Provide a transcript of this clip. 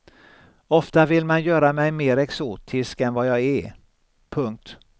Ofta vill man göra mig mer exotisk än vad jag är. punkt